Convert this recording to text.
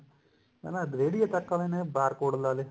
ਹਨਾ ਰੇਹੜਿਆਂ ਤੱਕ ਆਲੇ ਨੇ bar code ਲਗਾ ਲਏ